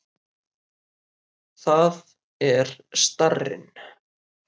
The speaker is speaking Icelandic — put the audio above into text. Það er starrinn.